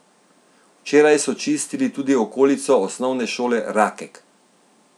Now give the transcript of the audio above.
Včeraj so čistili tudi okolico Osnovne šole Rakek.